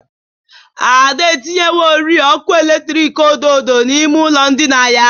Ada tinyerewori ọkụ eletiki odo odo n'ime ụlọ ndịna ya.